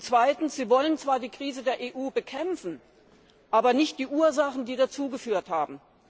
Zweitens Sie wollen zwar die Krise der EU bekämpfen, aber nicht die Ursachen, die dazu geführt haben.